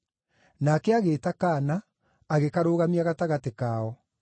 Nake agĩĩta kaana, agĩkarũgamia gatagatĩ kao.